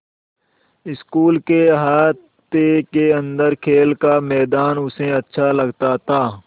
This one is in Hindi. स्कूल के अहाते के अन्दर खेल का मैदान उसे अच्छा लगता था